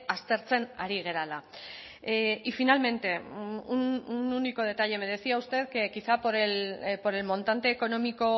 aztertzen ari garela y finalmente un único detalle me decía usted que quizá por el montante económico